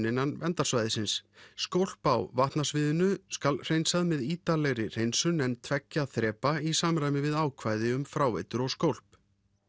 innan verndarsvæðisins skólp á vatnasviðinu skal hreinsað með ítarlegri hreinsun en tveggja þrepa í samræmi við ákvæði um fráveitur og skólp